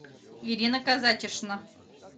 ирина казатишна